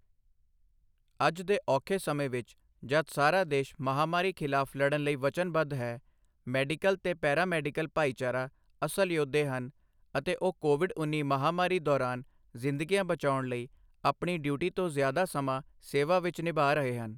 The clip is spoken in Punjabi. ਅੱਜ ਦੇ ਔਖੇ ਸਮੇਂ ਵਿੱਚ ਜਦ ਸਾਰਾ ਦੇਸ਼ ਮਹਾਮਾਰੀ ਖਿਲਾਫ਼ ਲੜਨ ਲਈ ਵਚਨਬੱਧ ਹੈ, ਮੈਡੀਕਲ ਤੇ ਪੈਰਾਮੈਡੀਕਲ ਭਾਈਚਾਰਾ ਅਸਲ ਯੋਧੇ ਹਨ ਅਤੇ ਉਹ ਕੋਵਿਡ ਉੱਨੀ ਮਹਾਮਾਰੀ ਦੌਰਾਨ ਜ਼ਿੰਦਗੀਆਂ ਬਚਾਉਣ ਲਈ ਆਪਣੀ ਡਿਊਟੀ ਤੋਂ ਜ਼ਿਆਦਾ ਸਮਾਂ ਸੇਵਾ ਨਿਭਾ ਰਹੇ ਹਨ।